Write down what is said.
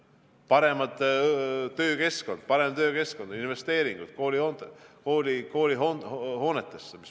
Parem töökeskkond, investeeringud koolihoonetesse.